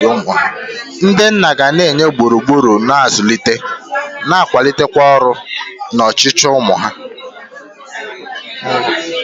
Ndị nna ga-enye gburugburu na-azụlite, na-akwalite nrọ na ọchịchọ ụmụ ha.